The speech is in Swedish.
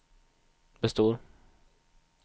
består